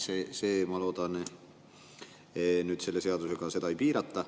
Seda, ma loodan, nüüd selle seadusega ei piirata.